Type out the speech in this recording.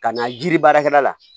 Ka na jiri baarakɛla la